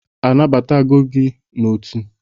A n'agbatala gi n'otu?